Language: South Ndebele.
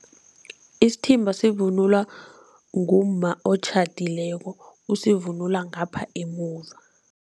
Isithimba sivunulwa ngumma otjhadileko, usivunula ngapha emuva.